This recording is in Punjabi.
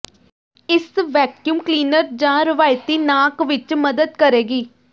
ਇਸ ਵੈਕਯੂਮ ਕਲੀਨਰ ਜਾਂ ਰਵਾਇਤੀ ਨਾਕ ਵਿੱਚ ਮਦਦ ਕਰੇਗੀ